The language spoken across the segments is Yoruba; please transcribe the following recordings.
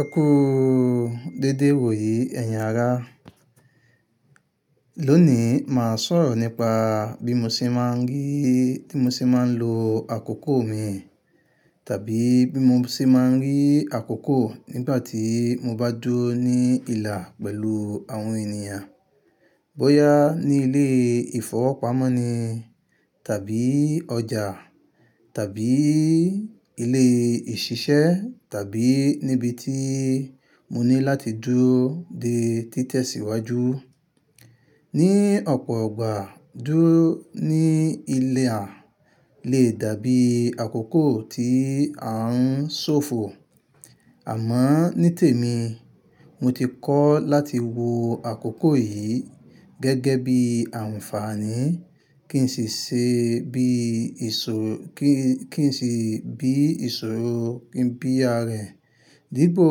Ẹ kú dédé wò yí ẹ̀yin ará. Lónìí, máa sọ̀rọ̀ nípa bí mo ṣe máa ń rí, tí mo ṣe máa ń lo àkókò mi, tàbí bí mo ṣe máa ń rí àkókò nígbà tí mo bá dúró ní ìlà pẹ̀lú àwọn ènìyàn. Bóyá ní ilé ìfọwọ́pamo ni tàbí ọjà tàbí ilé ìṣiṣẹ́ tàbí níbi tí mo ní láti dúró dé títẹ́síwájú. Ni ọ̀pọ̀'ìgbàá, dúró ní ilẹ̀ a lè dàbí àkókò tí a ń ṣòfò. Àmọ́ ní tèmi, mo ti kọ́ láti wo àkókò yìí gẹ́gẹ́ bí àǹfààní kí n sì ṣe bí ìṣò-- kí, kí n sì bí ìṣòro kí n bí ara ẹ̀. Dípò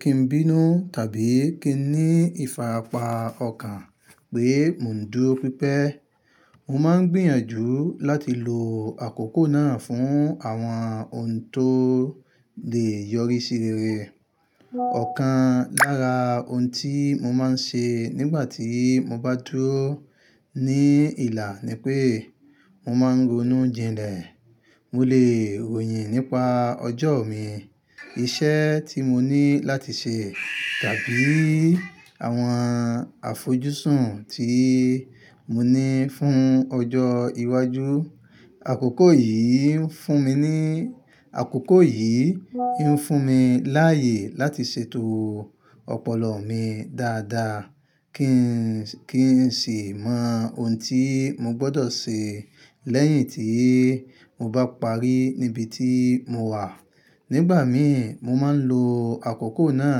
kí n bínú tàbí kí n ní ìfarapa ọkàn pé mò ń dúró pípẹ́. Mo máa ń gbìyànjú láti lo àkókò náà fún àwọn ohun tó lè yọrí sí rere. Ọ̀kan lára ohun tí mo máa ń ṣe nígbà tí mo bá dúró ní ìlà ni pé mo máa ń ronú jìnlẹ̀. Mo lè ròyìn nípa ọjọ́ mi, iṣẹ́ tí mo ní láti ṣe tàbí àwọn àfojúsùn tí mo ní fún ọjọ́ iwájú. Àkókò yìí ń fún mi ní, àkókò yìí ń fún mi láàyè láti ṣètò ọpọlọ mi dáadáa kí n sì mọ ohun tí mo gbọdọ̀ ṣe lẹ́yìn tí mo bá parí níbi tí mo wà. Nígbà mí, mo máa ń lo àkókò náà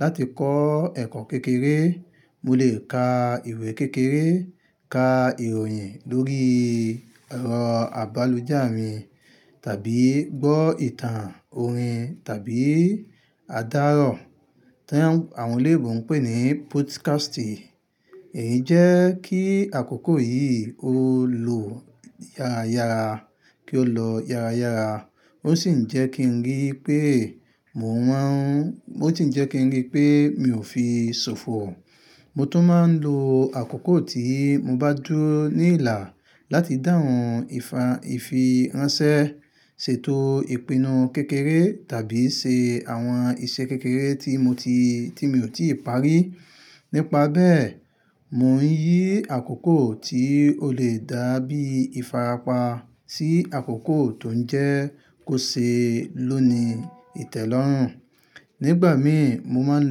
láti kọ́ ẹ̀kọ́ kékeré. Mo lè ka ìwé kékeré, ka ìròyìn lórí ẹ̀rọ agbálùjá mi tàbí gbọ́ ìtàn orin tàbí adárọ̀ tí àwọn eléwọ̀n ń pè ní podcasti. Èyí jẹ́ kí àkókò yìí ó lọ yára yára, kí ó lọ yára yára. Ó sì ń jẹ́ kí n rí pé mò ń máa ń-- ó sì ń jẹ́ kí n rí pé mi ò fi ṣòfò. Mo tún máa ń lo àkókò tí mo bá dúró ní ìlà láti dáhùn ìfi ránṣẹ́, ṣètò ìpinnu kékeré tàbí ṣe àwọn iṣẹ́ kékeré tí mo ti, tí mi ò tí ì parí. Nípa bẹ́ẹ̀, mò ń yí àkókò tí ó lè dàbí ìfarapa sí àkókò tó ń jẹ́ kó ṣe ló ni ìtẹ́lọ́rùn. Nígbà mí, mo máa ń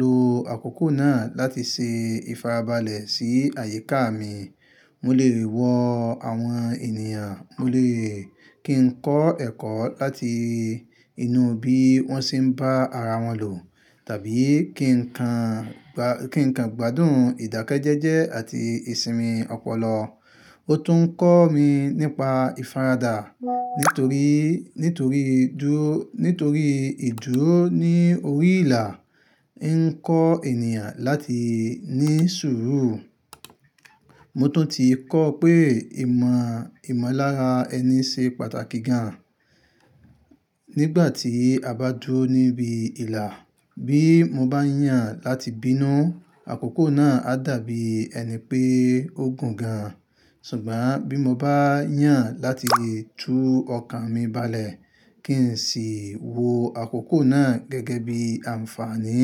lo àkókò náà láti ṣe ìfarabalẹ̀ sí àyíká mi. Mo lè rí wọ́ àwọn ènìyàn, mo lè kí n kọ́ ẹ̀kọ́ láti inú bí wọ́n ṣe ń bá ara wọn lò tàbí kí n kan gbádùn ìdákẹ́jẹ́jẹ́ àti ìsinmi ọpọlọ. Ó tún ń kọ́ mi nípa ìfaradà nítorí, nítorí dúró, nítorí ìdúró ní orí ìlà ń kọ́ ènìyàn láti ní sùúrù. Mo tún ti kọ́ pé ìmọ̀lára ẹni ṣe pàtàkì gan nígbà tí a bá dúró níbi ìlà. Bí mo bá yàn láti bínú, àkókò náà á dàbí ẹni pé ó gùn gan. Ṣùgbọ́n bí mo bá yàn láti tú ọkàn mi balẹ̀ kí n sì wo àkókò náà gẹ́gẹ́ bí àǹfààní,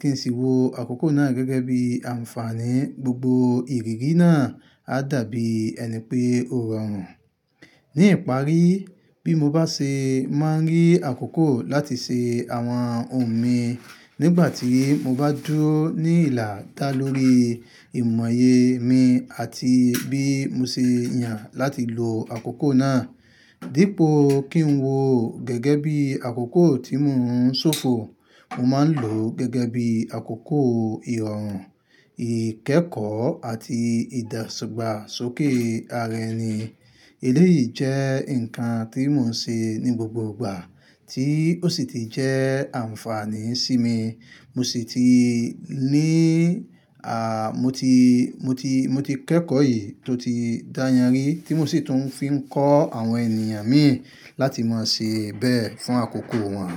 kí n sì wo àkókò náà gẹ́gẹ́ bí àǹfààní, gbogbo ìrírí náà á dàbí ẹni pé ó rọrùn. Ní ìparí, bí mo bá ṣe máa ń rí àkókò láti ṣe àwọn ohun mi nígbà tí mo bá dúró ní ìlà dá lórí ìmọ̀ye mi àti bí mo ṣe yàn láti lo àkókò náà. Dípò kí n wo gẹ́gẹ́ bí àkókò tí mò ń ṣòfò, mo máa ń lò ó gẹ́gẹ́ bí àkókò ìrọ̀rùn, ìkẹ́kọ̀ọ́ àti ìdàgbà sókè ara ẹni. Eléyìí jẹ́ nǹkan tí mò ń ṣe ní gbogbo ìgbà tí ó sì ti jẹ́ àǹfààní sí mi. Mo sì ti ní, a, mo ti, mo ti, mo ti kẹ́kọ̀ọ́ èyí tó ti dáyànrí tí mo sì tún fi ń kọ́ àwọn ènìyàn mi láti máa ṣe bẹ́ẹ̀ fún àkókò wọn.